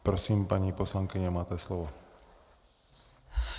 Prosím paní poslankyně, máte slovo.